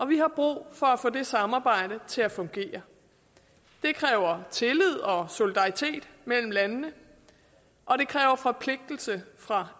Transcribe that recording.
vi har brug for at få det samarbejde til at fungere det kræver tillid og solidaritet mellem landene og det kræver forpligtelse fra